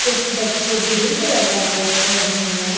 कुछ बच्चे green colour का ड्रेस पहने हुए हैं।